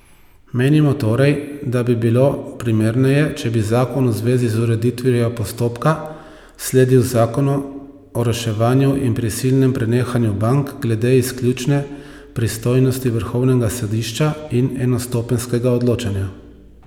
Menimo torej, da bi bilo primerneje, če bi zakon v zvezi z ureditvijo postopka sledil zakonu o reševanju in prisilnem prenehanju bank glede izključne pristojnosti vrhovnega sodišča in enostopenjskega odločanja.